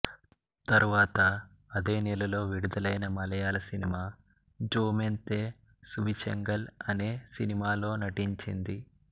తర్వాత అదే నెలలో విడుదలైన మలయాళ సినిమా జొమొంతె సువిశేషంగళ్ అనే సినిమాలో నటించింది